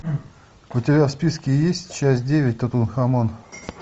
у тебя в списке есть часть девять тутанхамон